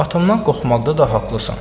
Atamdan qorxmaqda da haqqlısan.